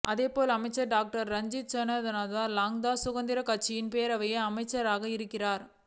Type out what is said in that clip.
அதேபோல் அமைச்சர் டாக்டர் ராஜித்த சேனாரத்னவே ஸ்ரீ லங்கா சுதந்திரக் கட்சியின் பேருவளை அமைப்பாளராக இருக்கிறார